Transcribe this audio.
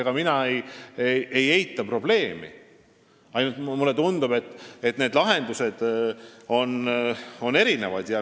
Ega mina ei eita probleemi, aga mulle tundub, et lahendused on erinevad.